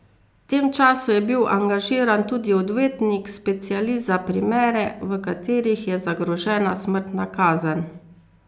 V tem času je bil angažiran tudi odvetnik, specialist za primere, v katerih je zagrožena smrtna kazen.